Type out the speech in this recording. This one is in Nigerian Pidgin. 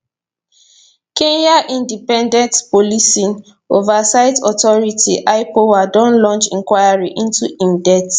kenya independent policing oversight authority ipoa don launch inquiry into im death